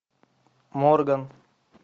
морган